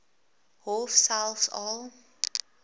hof selfs al